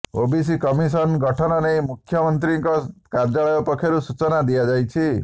OBC commission ଗଠନ ନେଇ ମୁଖ୍ୟମନ୍ତ୍ରୀଙ୍କ କାର୍ଯ୍ୟାଳୟ ପକ୍ଷରୁ ସୂଚନା ଦିଆଯାଇଛି